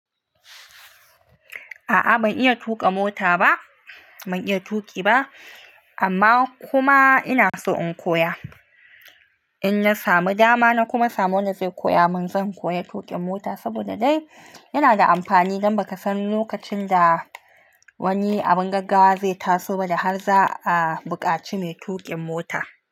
A'a ban iya tuƙa mota ba, ban iya tuƙi ba amma kuma ina so in koya. In na samu dama na kuma samu wanda zai koya mun, zan koya tuƙin mota saboda dai yana da amfani, don ba ka san lokacin da wani abin gaggawa zai taso ba da har za a bukaci mai tuƙin mota.